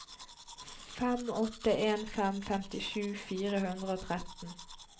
fem åtte en fem femtisju fire hundre og tretten